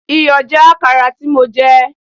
Iyọ̀ já Àkàrà tí mo jẹ.